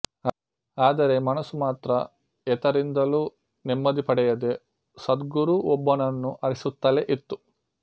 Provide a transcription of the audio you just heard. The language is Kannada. ಆದರೆ ಮನಸ್ಸು ಮಾತ್ರ ಏತರಿಂದಲೂ ನೆಮ್ಮದಿ ಪಡೆಯದೆ ಸದ್ಗುರುವೊಬ್ಬನನ್ನು ಅರಸುತ್ತಲೇ ಇತ್ತು